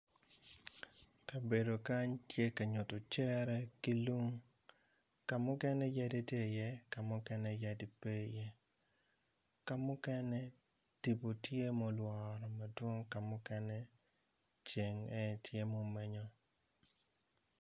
Kabedo kany tye ka nyuto cere ki lum, kamukene yadi tye i ye, ka mukene yadi pe i ye ka mukene tipo tye mulware madwong kamukene ceng en aye tye mumenyo.